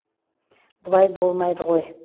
бұлай болмайды ғой